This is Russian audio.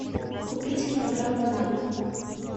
купить килограмм бананов